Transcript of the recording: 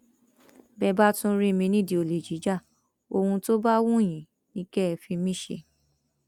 bẹẹ bá tún rí mi nídìí olè jíja ohun tó bá wù yín ni kẹ ẹ fi mí ṣe